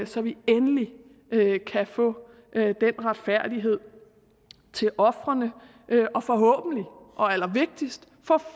så vi endelig kan få den retfærdighed til ofrene og forhåbentlig og allervigtigst